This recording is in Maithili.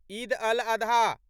ईद अल आधा